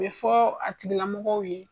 O bɛ fɔ a tigilamɔgɔw ye.